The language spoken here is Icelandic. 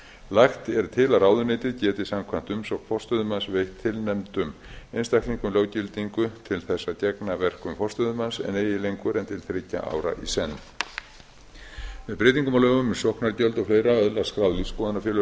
lagt er til að ráðuneytið geti samkvæmt umsókn forstöðumanna veitt tilnefndum einstaklingum löggildingu til þess að gegna verkum forstöðumanns en eigi lengur en til þriggja ára í senn með breytingum á lögum um sóknargjöld og fleira öðlast skráð lífsskoðunarfélög